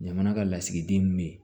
Jamana ka lasigiden min bɛ yen